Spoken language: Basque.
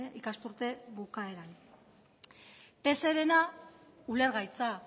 ikasturte bukaeran pserena ulergaitza